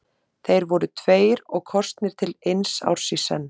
Þeir voru tveir og kosnir til eins árs í senn.